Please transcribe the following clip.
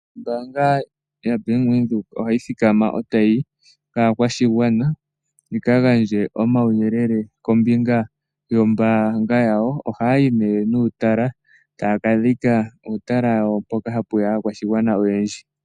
Ombanga yaBank Windhoek ohayi thikama etayi yi kaa kwashigwana, yika gandje oma wu yelele kombinga yombanga yawo. Ohayi nee nuutala taa ka dhika uutalala wayo mboka hapu ya aakwashigwana oyendji.